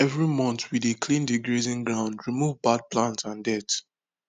every month we dey clean the grazing ground remove bad plant and dirt